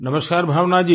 नमस्कार भावना जी